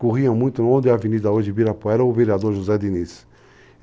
Corriam muito onde a avenida hoje de Ibirapuera, o vereador José Diniz.